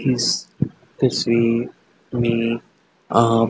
इस तस्वीर में आप--